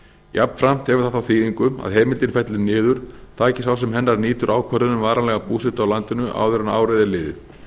jafnframt hefur það þá þýðingu að heimildin fellur niður taki sá sem hennar nýtur ákvörðun um varanlega búsetu á landinu áður en árið er liðið